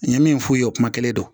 N ye min f'u ye o kuma kelen don